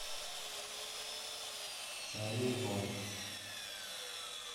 чайный дворик